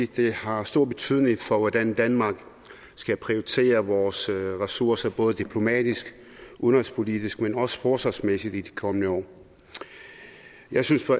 det har stor betydning for hvordan danmark skal prioritere vores ressourcer både diplomatisk udenrigspolitisk men også forsvarsmæssigt i de kommende år jeg synes at